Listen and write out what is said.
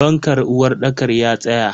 Fankan uwarɗakar ya tsaya.